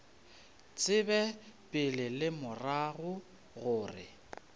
tsebe pele le morago gore